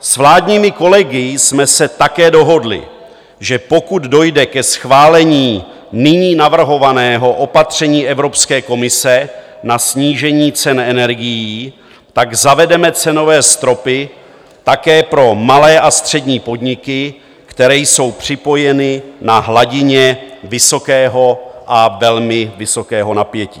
S vládními kolegy jsme se také dohodli, že pokud dojde ke schválení nyní navrhovaného opatření Evropské komise na snížení cen energií, tak zavedeme cenové stropy také pro malé a střední podniky, které jsou připojeny na hladině vysokého a velmi vysokého napětí.